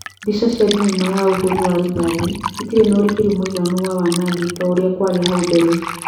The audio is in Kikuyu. "Mbica cia thinema ya ũhũri wa rithathi itirĩ na ũrikeru mũiganu wa wanangi ta urĩa kwarĩ hau mbere